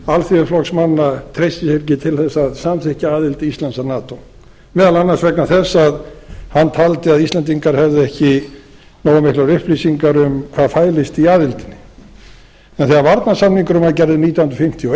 alþýðuflokksmanna treysti sér ekki til að samþykkja aðild íslands að nato meðal annars vegna þess að hann taldi að íslendingar hefðu ekki nógu miklar upplýsingar um hvað fælist í aðildinni en þegar varnarsamningurinn var gerður nítján hundruð fimmtíu og